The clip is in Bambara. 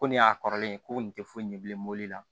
Ko nin y'a kɔrɔlen ko nin tɛ foyi ɲɛ bilen mobili la